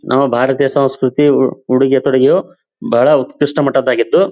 ನಾವ ಭಾರತಿಯ ಸಂಸ್ಕೃತಿ ಉ ಉಡುಗೆ ತೊಡುಗೆಯು ಬಹಳ ಉತ್ಕರ್ಸ್ಟ ಮಟ್ಟದ್ದಾಗಿದ್ದು --